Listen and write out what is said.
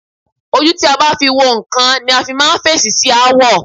Ojú tí a bá fi wo nǹkan ni a fi máa ń fèsì sí aáwọ̀.